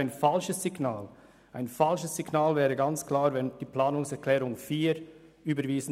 Wir würden ein falsches Signal aussenden, wenn wir die Planungserklärung 4 überwiesen.